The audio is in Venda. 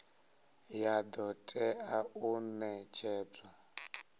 ya do tea u netshedzwa